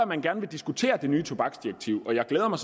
man gerne vil diskutere det nye tobaksdirektiv og jeg glæder mig